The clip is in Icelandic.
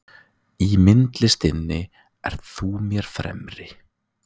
Í myndlistinni ert þú mér fremri.